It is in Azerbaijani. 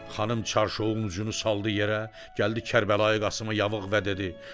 Xanım çarşovun ucunu saldı yerə, gəldi Kərbəlayı Qasımın yavığa və dedi: